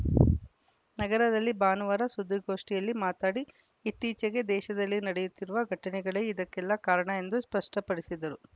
ನಗರದಲ್ಲಿ ಭಾನುವಾರ ಸುದ್ದಿಗೋಷ್ಠಿಯಲ್ಲಿ ಮಾತನಾಡಿ ಇತ್ತೀಚೆಗೆ ದೇಶದಲ್ಲಿ ನಡೆಯುತ್ತಿರುವ ಘಟನೆಗಳೇ ಇದಕ್ಕೆಲ್ಲಾ ಕಾರಣ ಎಂದು ಸ್ಪಷ್ಟಪಡಿಸಿದರು